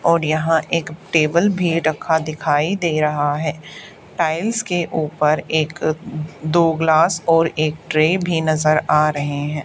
और यहां एक टेबल भी रखा दिखाई दे रहा है टाइल्स के ऊपर एक दो ग्लास और एक ट्रे भी नजर आ रहे हैं।